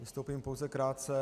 Vystoupím pouze krátce.